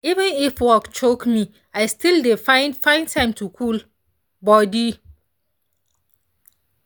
even if work choke me i still dey find find time to cool body.